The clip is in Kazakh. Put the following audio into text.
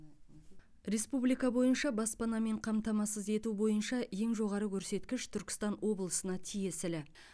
республика бойынша баспанамен қамтамасыз ету бойынша ең жоғары көрсеткіш түркістан облысына тиесілі